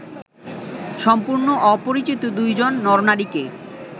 সম্পূর্ণ অপরিচিত দুজন নর-নারীকে